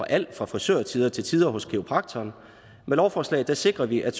alt fra frisørtider til tider hos kiropraktoren med lovforslaget sikrer vi at